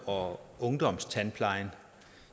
og ungdomstandplejen